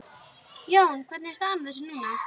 Jón, hvernig er staðan á þessu núna?